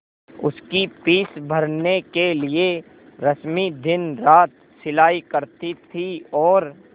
उसकी फीस भरने के लिए रश्मि दिनरात सिलाई करती थी और